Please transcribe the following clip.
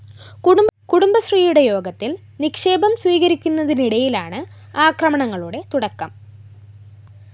കുടുംബശ്രീയുടെ യോഗത്തില്‍ നിക്ഷേപം സ്വീകരിക്കുന്നതിനിടയിലാണ് ആക്രമണങ്ങളുടെ തുടക്കം